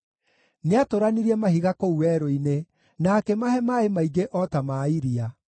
Nĩatũranirie mahiga kũu werũ-inĩ, na akĩmahe maaĩ maingĩ o ta ma iria;